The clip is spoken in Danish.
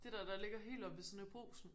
Det dér der ligger helt oppe ved siden af brugsen